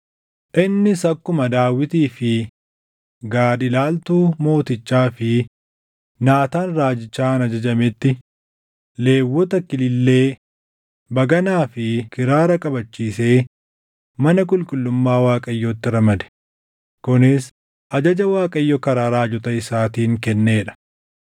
Innis akkuma Daawitii fi Gaad ilaaltuu mootichaa fi Naataan raajichaan ajajametti Lewwota kilillee, baganaa fi kiraara qabachiisee mana qulqullummaa Waaqayyootti ramade; kunis ajaja Waaqayyo karaa raajota isaatiin kennee dha.